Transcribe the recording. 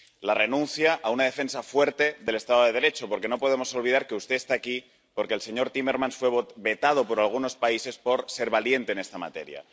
La renuncia a una defensa fuerte del Estado de Derecho, porque no podemos olvidar que usted está aquí porque el señor Timmermans fue vetado por algunos países por ser valiente en esta materia.